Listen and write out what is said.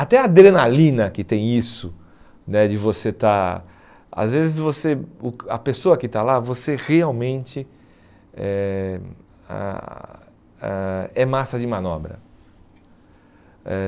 Até a adrenalina que tem isso, né de você estar... Às vezes você, o a pessoa que está lá, você realmente é ãh ãh é massa de manobra. Eh